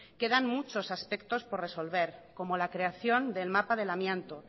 quedan muchos aspectos por resolver como la creación del mapa del amianto